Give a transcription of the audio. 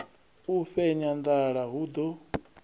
u fhenya nḓala hu ḓo